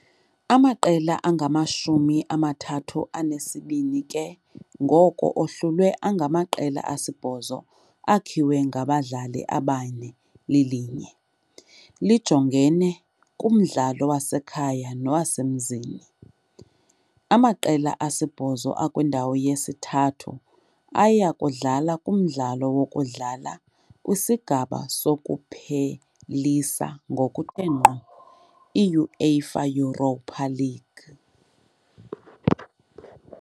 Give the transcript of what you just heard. Amaqela angamashumi amathathu anesibini ke ngoko ahlulwe angamaqela asibhozo akhiwe ngabadlali abane lilinye, lijongene kumdlalo wasekhaya nowasemzini. Amaqela asibhozo akwindawo yesithathu aya kudlala kumdlalo wokudlala kwisigaba sokuphelisa ngokuthe ngqo i -UEFA Europa League .